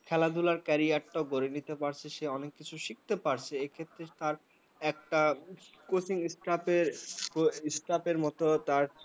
খেলাধুলার career টা সেই গডে নিতে পাচ্ছে সে অনেক কিছু শিখতে পারছে সে ক্ষেত্রে তার একটা coaching staff মত তার